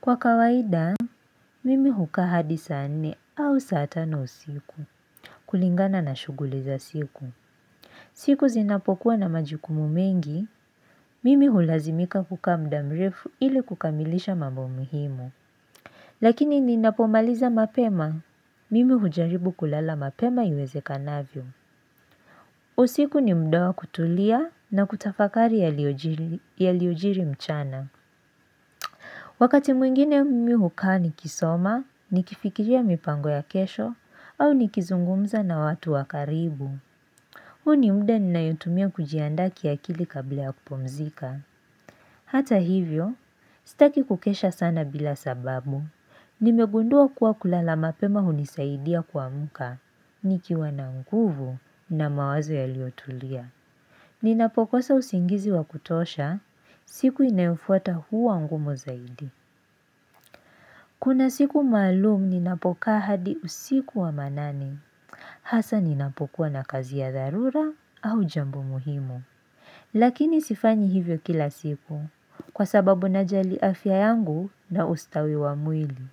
Kwa kawaida, mimi hukaa hadi saa nne au saa tano usiku, kulingana na shughuli za siku. Siku zinapokuwa na majukumu mengi, mimi hulazimika kukaa mda mrefu ili kukamilisha mambo muhimu. Lakini ninapomaliza mapema, mimi hujaribu kulala mapema iwezekanavyo. Usiku ni mda wa kutulia na kutafakari yaliojiri yaliojiri mchana. Wakati mwingine mmi hukaa ni kisoma, ni kifikiria mipango ya kesho, au ni kizungumza na watu wa karibu. Huu ni mda ninayotumia kujiandaa ki akili kabla ya kupumzika. Hata hivyo, sitaki kukesha sana bila sababu. Nimegundua kuwa kulala mapema hunisaidia kuamuka, nikiwa nanguvu na mawazo yalio tulia. Ninapokosa usingizi wa kutosha, siku inayofuata huwa ngumu zaidi. Kuna siku maalum ninapokaa hadi usiku wa manane, hasa ninapokuwa na kazi ya dharura au jambo muhimu. Lakini sifanyi hivyo kila siku, kwa sababu najali afya yangu na ustawi wa mwili.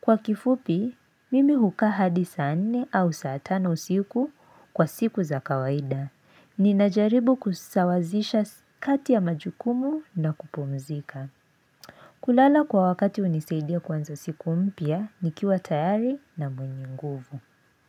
Kwa kifupi, mimi hukaa hadi saa nne au saa tano usiku, kwa siku za kawaida. Ninajaribu kusawazisha kati ya majukumu na kupumzika. Kulala kwa wakati hunisaidia kuanza siku moya nikiwa tayari na mwenye nguvu.